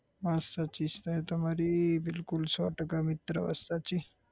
વાત સાચી છે તમારી બિલકુલ સો ટકા મિત્ર વાત સાચી